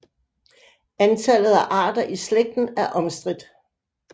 Antallet af arter i slægten er omstridt